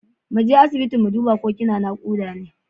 Mu je asibiti mu duba ko kina nakuda ne.